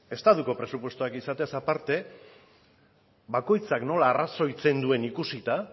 estatuko presupuestoak izatez aparte bakoitzak nola arrazoitzen duen ikusita